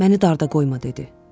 Məni darda qoyma dedi.